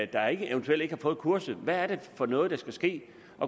der eventuelt ikke har fået kurset hvad er det for noget der skal ske